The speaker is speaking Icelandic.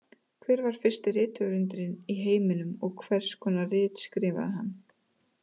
Hver var fyrsti rithöfundurinn í heiminum og hvers konar rit skrifaði hann?